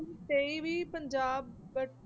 ਤੇਈਵੀਂ Punjab